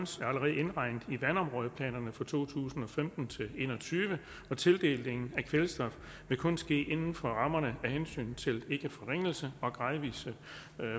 allerede indregnet i vandområdeplanerne for to tusind og femten til en og tyve og tildelingen af kvælstof vil kun ske inden for rammerne af hensynet til ikkeforringelse og gradvis